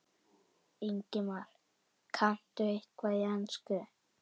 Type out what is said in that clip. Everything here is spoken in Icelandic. Ingimar: Kanntu eitthvað í ensku?